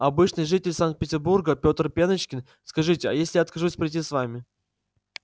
обычный житель санкт-петербурга петр пеночкин скажите а если я откажусь пройти с вами